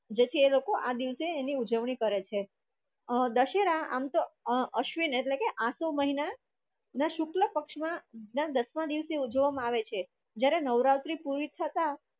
જેથી એ લોકો આ દિવસે એની ઉજવણી કરે છે. અ દશેરા આમ તો અ અ અશ્વિન એટલે કે આસો મહિના ના શુક્લ પક્ષમા દસમા દિવસે ઉજવવામાં આવે છે જ્યારે નવરાત્રિ પૂરી થતા